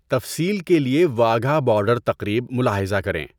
تفصیل کے لیے واہگہ بارڈر تقریب ملاحظہ کریں۔